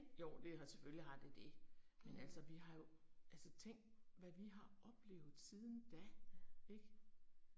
Jo det har selvfølgelig har det det. Men altså vi har jo. Altså tænk hvad vi har oplevet siden da ik